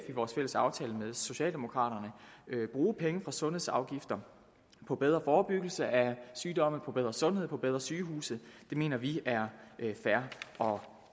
vores fælles aftale med socialdemokraterne bruge penge fra sundhedsafgifter på bedre forebyggelse af sygdomme på bedre sundhed på bedre sygehuse det mener vi er fair og